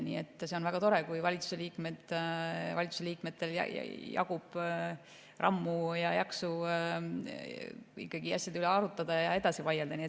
Nii et see on väga tore, kui valitsuse liikmetel jagub rammu ja jaksu asjade üle arutada ja edasi vaielda.